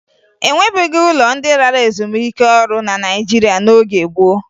E nwebughi ụlọ ndị lara ezumike ọrụ na Naịjirịa n'oge gboo